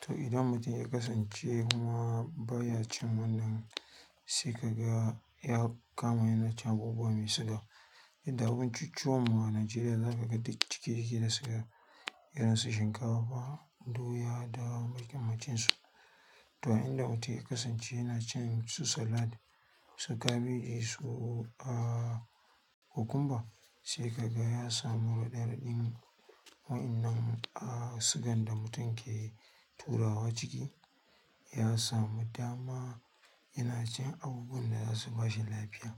To idan mutum ya kasance kuma baya cin wannan, sai kaga ya kama yana cin abubuwa me suga. Duk da abincicchuwan a Nigeria zakaga duk ciki yake gaskiya, irinsu shinkafa, doya da makamantansu to, inda mutun ya kasance yana cin su salad, su kabeji, su aa kokumba sai kaga ya samu raɗaɗin wa'innan a sugan da mutum ke turawa ciki. Yasamu dama yanacin abubuwan da zasu bashi lafiya.